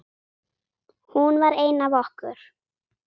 Hún var ein af okkur.